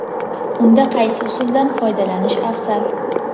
Unda qaysi usuldan foydalanish afzal?.